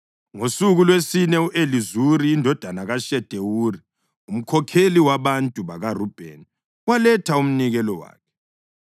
Ngosuku lwesine u-Elizuri indodana kaShedewuri, umkhokheli wabantu bakaRubheni, waletha umnikelo wakhe.